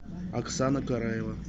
оксана караева